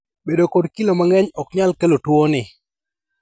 Bedo kod kilo mang`eny ahinya oknyal kelo tuoni.